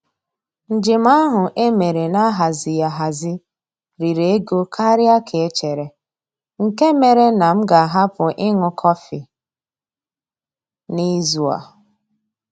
Njem ahụ e mere na-ahazighị ahazi riri ego karịa ka e chere, nke mere na m ga-ahapụ ịṅụ kọfị n'izu a.